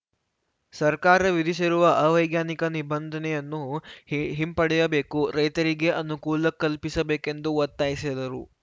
ಸರ್ಕಾರ ವಿಧಿಸಿರುವ ಅವೈಜ್ಞಾನಿಕ ನಿಬಂಧನೆಯನ್ನು ಹಿ ಹಿಂಪಡೆಯಬೇಕು ರೈತರಿಗೆ ಅನುಕೂಲ ಕಲ್ಪಿಸಬೇಕೆಂದು ಒತ್ತಾಯಿಸಿದರು